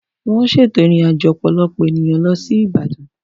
Wọ́n ṣètò ìrìnàjò ọ̀pọ̀lọpọ̀ ènìyàn lọ sí Ìbàdàn.